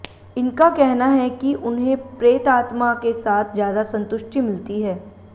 इनका कहना है कि उन्हे प्रेतात्मा के साथ ज्यादा संतुष्टि मिलती है